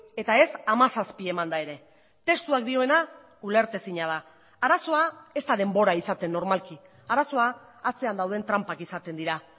eta ez hamazazpi emanda ere testuak dioena ulertezina da arazoa ez da denbora izaten normalki arazoa atzean dauden tranpak izaten dira